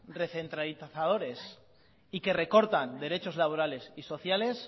recentralizadores y que recortan derechos laborales y sociales